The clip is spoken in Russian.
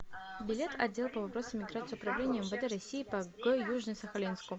билет отдел по вопросам миграции управления мвд россии по г южно сахалинску